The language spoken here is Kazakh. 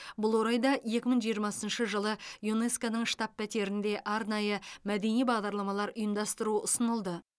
бұл орайда екі мың жиырмасыншы жылы юнеско ның штаб пәтерінде арнайы мәдени бағдарламалар ұйымдастыру ұсынылды